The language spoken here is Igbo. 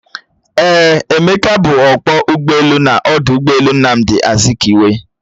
Eeh, Emeka bu ọkpọ ụgbọelu n'ọdụ ụgbọelu Nnamdi Azikiwe